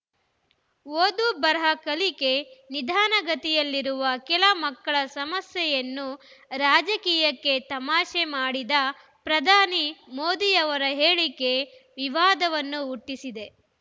ಓದು ಬರಹ ಕಲಿಕೆ ನಿಧಾನಗತಿಯಲ್ಲಿರುವ ಕೆಲ ಮಕ್ಕಳ ಸಮಸ್ಯೆಯನ್ನು ರಾಜಕೀಯಕ್ಕೆ ತಮಾಷೆ ಮಾ‌ಡಿದ ಪ್ರಧಾನಿ ಮೋದಿಯವರ ಹೇಳಿಕೆ ವಿವಾದವನ್ನು ಹುಟ್ಟಿಸಿದೆ